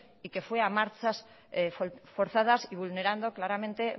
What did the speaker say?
y que fue a marchas forzadas y vulnerando claramente